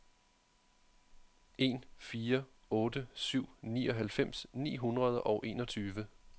en fire otte syv nioghalvfems ni hundrede og enogtyve